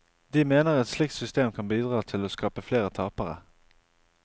De mener et slikt system kan bidra til å skape flere tapere.